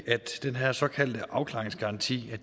at den her såkaldte afklaringsgaranti